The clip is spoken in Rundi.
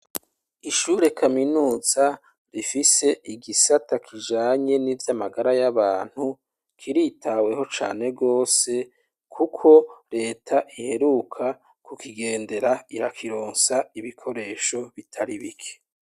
Ishure Kaminuiza rifise igisata kijanye n'ivy'amagara y'abantu kiritaweho gose kubera Reta iheruka kukigendera irakironsa ibikoresho bitari bike.